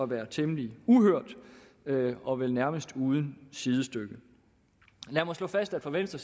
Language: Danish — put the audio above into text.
være temmelig uhørt og vel nærmest uden sidestykke lad mig slå fast at for venstre